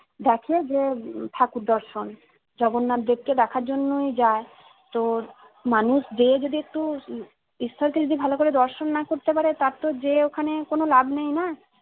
দেখে যে ঠাকুর দর্শন জগন্নাথ দেবকে দেখার জন্যই যাই তো মানুষ যেয়ে যদি একটু উহ ঈশ্বর কে যদি ভালোকরে দর্শন না করতে পারে তার তো যেয়ে ওখানে কোনো লাভ নেইনা